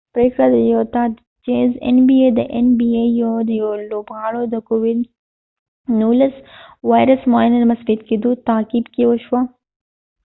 د این بی ای nba پریکړه د یوټا د چېز د یو لوبغاړی د کوويد 19 وایرس معاینه د مثبت کېدو تعقیب کې وشوه